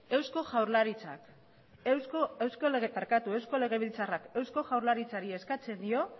eusko legebiltzarrak eusko jaurlaritzari eskatzen dio